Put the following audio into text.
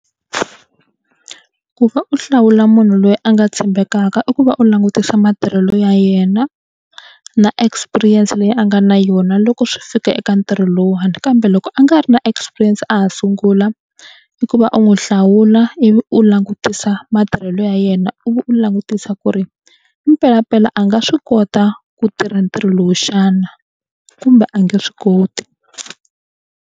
Ku va u hlawula munhu loyi a nga tshembekaka i ku va u langutisa matirhelo ya yena na experience leyi a nga na yona loko swi fika eka ntirho lowuwani kambe loko a nga ri na experience a ha sungula i ku va u n'wi hlawula ivi u langutisa matirhelo ya yena ivi u langutisa ku ri i mpelampela a nga swi kota ku tirha ntirho lowu xana kumbe a nge swi koti.